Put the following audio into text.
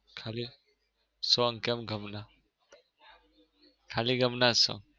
ખાલી song કેમ ગમ ના? ખાલી ગમ ના જ song.